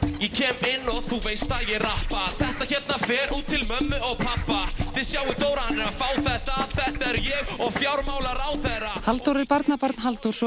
ég kem inn og þú veist að ég rappa þetta hérna fer út til mömmu og pabba þið sjáið Dóra hann er að fá þetta þetta er ég og fjármálaráðherra Halldór er barnabarn Halldórs